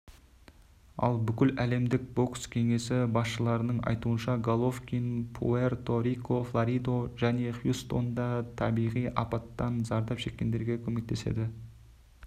ал бүкіләлемдік бокс кеңесі басшыларының айтуынша головкин пуэрто-рико флорида және хьюстонда табиғи апаттан зардап шеккендерге көмектеседі